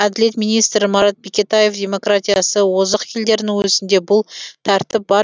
әділет министрі марат бекетаев демократиясы озық елдердің өзінде бұл тәртіп бар